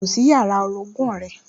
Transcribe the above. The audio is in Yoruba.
Lọ sùn sí yàrá orogún-ùn rẹ